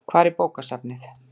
Hvar er bókasafnið?